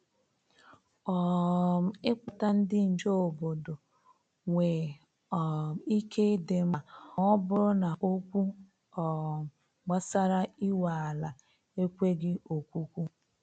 um I Kpọta ndị nche obodo nwe um ike ịdị mkpa ma ọ bụrụ na okwu um gbasara inwe ala ekweghị okwukwu.